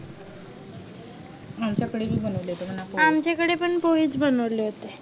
आमच्या कडे बी बनवले होते मनाव पोहे आमच्या कडे पण पोहे च बनवले होते